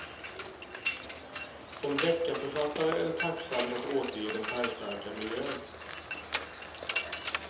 Som deckarförfattare är det tacksamt att återge den färgstarka miljön.